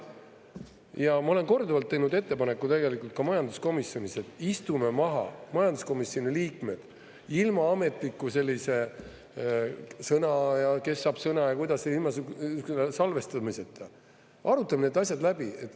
Ja ma olen korduvalt teinud ettepaneku tegelikult ka majanduskomisjonis, et istume maha, majanduskomisjoni liikmed, ilma ametliku sellise sõna ja kes saab sõna ja kuidas, ilma salvestamiseta, arutame need asjad läbi.